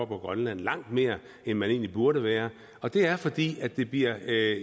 på grønland langt mere end man egentlig burde være og det er fordi det bliver